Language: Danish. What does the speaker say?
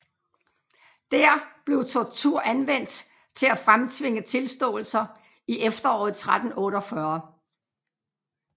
Dér blev tortur anvendt til at fremtvinge tilståelser i efteråret 1348